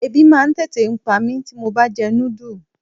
Ẹbí máa ń tètè pa mí tí mo bá jẹ núdù.